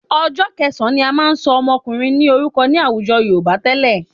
Ọjọ́ kẹsàn-án ni a máa ń ṣọ ọmọkùnrin ní orúkọ ní àwùjọ Yorùbá tẹ́lẹ̀